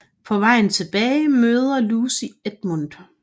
På vejen tilbage møder Lucy Edmund